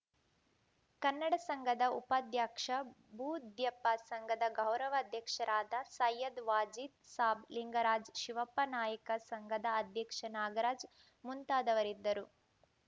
ಕನ್ನಡ ಸಂಘದ ಉಪಾಧ್ಯಕ್ಷ ಬೂದ್ಯಪ್ಪ ಸಂಘದ ಗೌರವ ಅಧ್ಯಕ್ಷರಾದ ಸೈಯದ್‌ ವಾಜೀದ್‌ ಸಾಬ್‌ ಲಿಂಗರಾಜ್‌ ಶಿವಪ್ಪ ನಾಯಕ ಸಂಘದ ಅಧ್ಯಕ್ಷ ನಾಗರಾಜ್‌ ಮುಂತಾದವರಿದ್ದರು